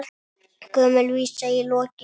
Gömul vísa í lokin.